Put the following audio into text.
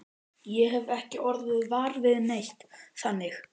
Ég hef ekki orðið var við neitt, þannig.